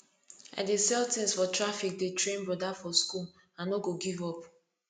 i dey sell tins for traffic dey train broda for skool i no go give up